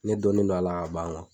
Ne dɔnnen don a la ka ban